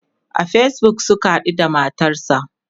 a Facebook Suka haɗu da matarsa